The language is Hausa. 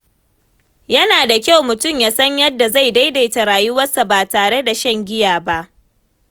Yana da kyau mutum ya san yadda zai daidaita rayuwarsa ba tare da shan giya ba.